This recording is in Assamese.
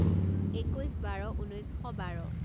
একৈছ বাৰ ঊনৈছ শ বাৰ